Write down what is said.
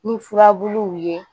Ni furabuluw ye